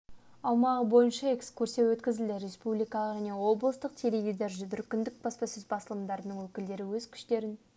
аумағы бойынша экскурсия өткізді республикалық және облыстық теледидар және дүркіндік баспасөз басылымдарының өкілдері өз күштерін